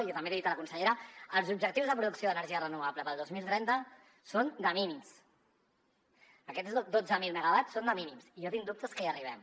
i també l’hi he dit a la consellera els objectius de producció d’energia renovable per al dos mil trenta són de mínims aquests dotze mil megawatts són de mínims i jo tinc dubtes que hi arribem